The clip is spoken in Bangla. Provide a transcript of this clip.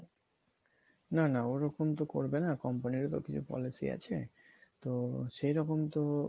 না না ওরকম তো করবে না company র ও তো policy আছে তো সেইরকম তো